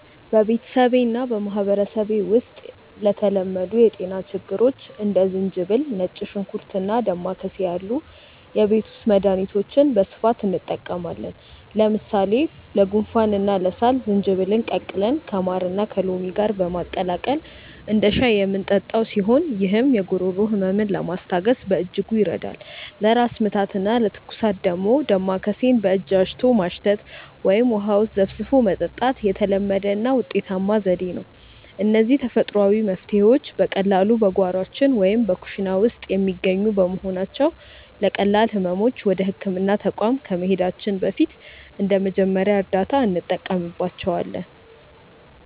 በቤተሰቤና በማኅበረሰቤ ውስጥ ለተለመዱ የጤና ችግሮች እንደ ዝንጅብል፣ ነጭ ሽንኩርትና ዳማከሴ ያሉ የቤት ውስጥ መድኃኒቶችን በስፋት እንጠቀማለን። ለምሳሌ ለጉንፋንና ለሳል ዝንጅብልን ቀቅለን ከማርና ከሎሚ ጋር በማቀላቀል እንደ ሻይ የምንጠጣው ሲሆን፣ ይህም የጉሮሮ ሕመምን ለማስታገስ በእጅጉ ይረዳል። ለራስ ምታትና ለትኩሳት ደግሞ ዳማከሴን በእጅ አሽቶ ማሽተት ወይም ውሃ ውስጥ ዘፍዝፎ መጠጣት የተለመደና ውጤታማ ዘዴ ነው። እነዚህ ተፈጥሯዊ መፍትሔዎች በቀላሉ በጓሯችን ወይም በኩሽና ውስጥ የሚገኙ በመሆናቸው፣ ለቀላል ሕመሞች ወደ ሕክምና ተቋም ከመሄዳችን በፊት እንደ መጀመሪያ እርዳታ እንጠቀምባቸዋለን።